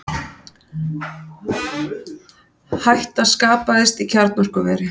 Hætta skapaðist í kjarnorkuveri